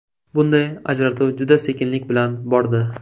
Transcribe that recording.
Bunday ajratuv juda sekinlik bilan bordi.